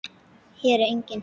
Hér er enginn.